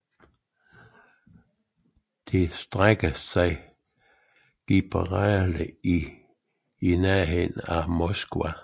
Det strækker sig fra Gibraltar til i nærheden af Moskva